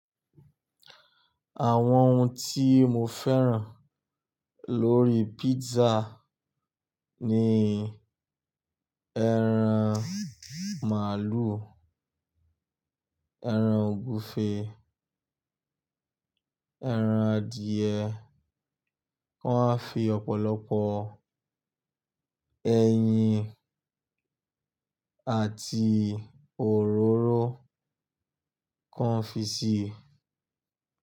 Àwọn ohun tí mo fẹ́ràn lórí pizza ni ẹran màlúù, ẹran ògúfe, ẹran adìyẹ. Wọ́n á fi ọ̀pọ̀lọpọ̀ ẹyin àti òróró kọ́ńfísì.